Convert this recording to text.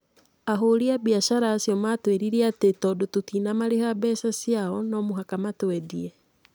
Ahũri a biacara acio matũĩrire atĩ tondũ tũtinamariha mbeca ciao no mũhaka matũendie.